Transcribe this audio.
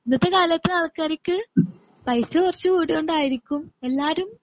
ഇന്നത്തെ കാലത്തെ ആൾക്കാർക്ക് പൈസ കുറച്ചുകൂടിയ കൊണ്ടായിരിക്കും എല്ലാരും